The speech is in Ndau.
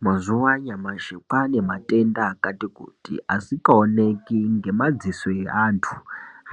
Mazuwa anyamashi kwane matenda akati kuti asikaoneki ngemadziso eantu